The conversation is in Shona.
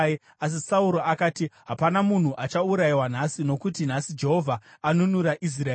Asi Sauro akati, “Hapana munhu achaurayiwa nhasi, nokuti nhasi Jehovha anunura Israeri.”